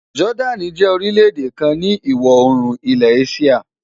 Jordan jẹ́ orílẹ̀ èdè kan ni ìwọ̀ oòrùn ilẹ̀ Asia.